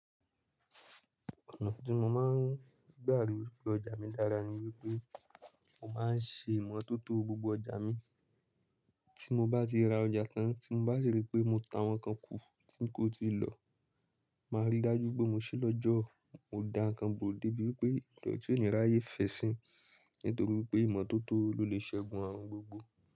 Ọ̀nà tí mo máa ń gbà ló ọjà mi dára ni wípé mo máa ń ṣe ìmọ̀tótó gbogbo ọjà mi. Tí mo bá ti ra ọjà kan, tí n bá si rí pé mo ta àwọn kan kù tí ń kó ti lọ, màá rí dájú pé mo ṣí lọ́jọ́ mo dá nkán bó dé bí wi pé ìdọ̀tí onì ráyé fẹ̀ sí. Nítorí pé ìmọ̀tótó ló lè ṣẹ́gun àrun gbogbo.